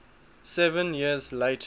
seven years later